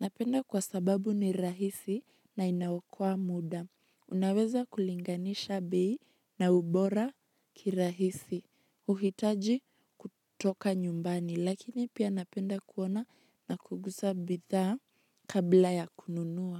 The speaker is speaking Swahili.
Napenda kwa sababu ni rahisi na inaokoa muda. Naweza kulinganisha bei na ubora kirahisi uhitaji kutoka nyumbani, lakini pia napenda kuona na kugusa bidhaa kabla ya kununua.